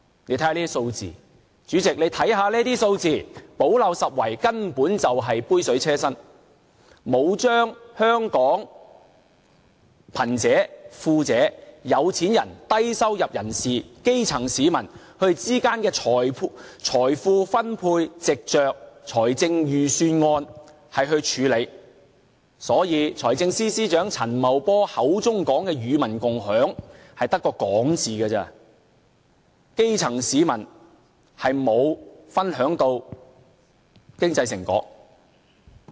大家看看這些數字，主席，你看看這些數字，補漏拾遺根本是杯水車薪，並沒有把香港貧者、富者、有錢人、低收入人士、基層市民之間的財富分配，藉着預算案來處理，所以財政司司長陳茂波口中所說的與民共享，只是說說而已，基層市民並沒有分享經濟成果。